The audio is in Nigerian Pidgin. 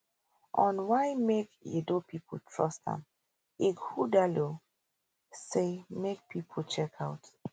on why make edo pipo trust am ighodalo say make pipo check out